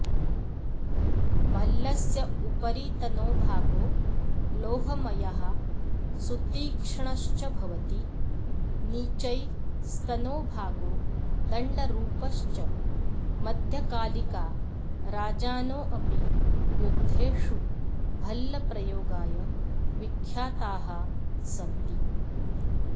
भल्लस्योपरितनो भागो लोहमयः सुतीक्ष्णश्च भवति नीचैस्तनो भागो दण्डरुपश्च मध्यकालिका राजानोऽपि युद्धेषु भल्लप्रयोगाय विख्याताः सन्ति